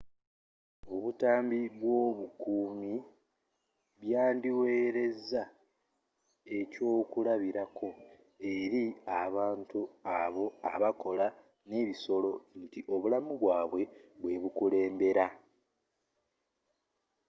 obutambi bw’obukuumi byandiwereza ekyokulabirako eri abantu abo abakola n’ebisolo nti obulamu bwabwe bwe bukulembera.